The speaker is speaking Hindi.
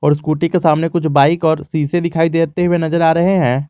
और स्कूटी के सामने कुछ बाइक और शीशे दिखाई देते हुए नजर आ रहे हैं।